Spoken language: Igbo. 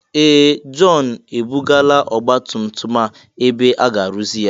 Ee! Jọn ebugala ọgbatumtum a ebe aga arụzi ya.